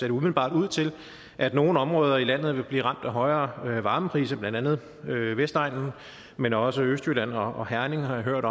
det umiddelbart ud til at nogle områder i landet vil blive ramt af højere varmepriser blandt andet vestegnen men også østjylland og herning har jeg hørt